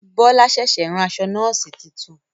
Bọlá ṣẹ̀ṣẹ̀ rán aṣọ Nọ́ọ̀sì titun